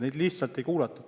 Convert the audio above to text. Seda lihtsalt ei kuulatud.